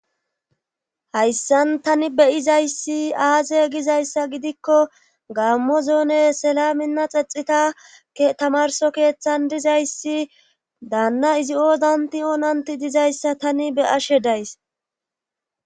hayssan tani beyizayssi aaze gizayssa gidikko gaammo zoone selaminna xexitakke tamarso keeththan dizayssi daanna izi oodanti oonanti dizayssa tani be ashe days